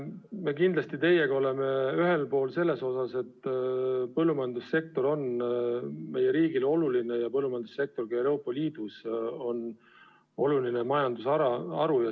Me kindlasti teiega oleme ühel arvamusel selles osas, et põllumajandussektor on meie riigile oluline ja põllumajandussektor ka Euroopa Liidus on oluline majandusharu.